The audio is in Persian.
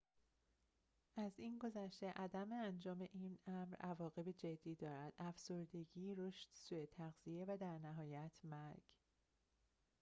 از این گذشته عدم انجام این امر عواقب جدی دارد افسردگی رشد سوء تغذیه و در نهایت مرگ